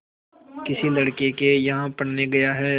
किसी लड़के के यहाँ पढ़ने गया है